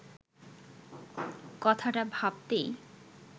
কথাটা ভাবতেই